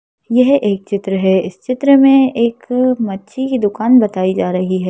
यह एक चित्र है इस चित्र में एक मच्छी की दुकान बताई जा रही है।